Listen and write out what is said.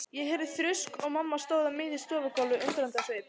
Ég heyrði þrusk og mamma stóð á miðju stofugólfinu undrandi á svip.